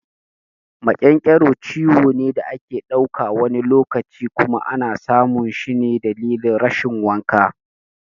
Maƙyanƙyaro ciwo ne da ake dauka, wani lokaci kuma ana samun shi dalilin rashin wanka.